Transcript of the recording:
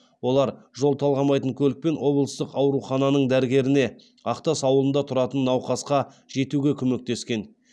олар жол талғамайтын көлікпен облыстық аурухананың дәрігеріне ақтас ауылында тұратын науқасқа жетуге көмектескен